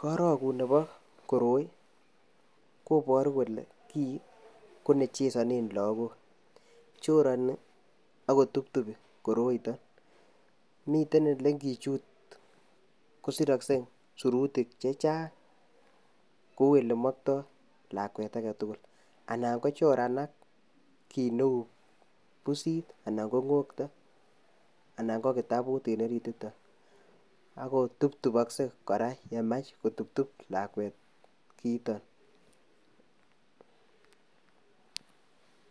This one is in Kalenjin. Korokut nebo koroi ii kobaruh kole kii ko ne chezanen lagook chorani ak kotuptupii koroi Mii kiit nengichut kosiroksee tuguk chechang kou yemoktoo lakwet ake tugul anan kochoranak kiit neu busit ana ko ngokto anan ko kitabut en orit yuton ak kotuptupoksee kora yemach kotuptup lakwet kiitok